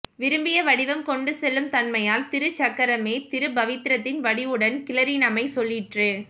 விரும்பிய வடிவம் கொண்டு செல்லும் தன்மையால் திருச் சக்கரமே திருப் பவித்ரத்தின் வடிவுடன் கிளறினமை சொல்லிற்று